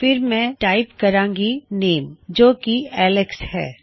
ਫਿਰ ਮੈਂ ਟਾਇਪ ਕਰਾਂਗਾ ਨੇਮ ਜੋ ਕਿ ਐਲਕਸ ਹੈ